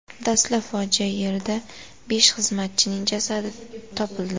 Dastlab fojia yerida besh xizmatchining jasadi topildi.